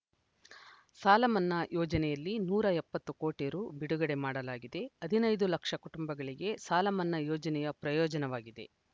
ಸಾಲಮನ್ನಾ ಯೋಜನೆಯಲ್ಲಿ ನೂರ ಎಪ್ಪತ್ತು ಕೋಟಿ ರು ಬಿಡುಗಡೆ ಮಾಡಲಾಗಿದೆ ಹದಿನೈದು ಲಕ್ಷ ಕುಟುಂಬಗಳಿಗೆ ಸಾಲಮನ್ನಾ ಯೋಜನೆಯ ಪ್ರಯೋಜನವಾಗಿದೆ